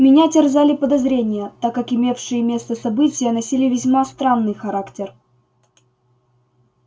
меня терзали подозрения так как имевшие место события носили весьма странный характер